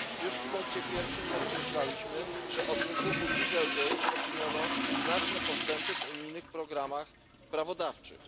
Już w punkcie pierwszym podkreśliliśmy, że od wybuchu Dieselgate poczyniono znaczne postępy w unijnych programach prawodawczych.